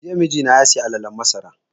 Jiya mijina ya saya alalen masara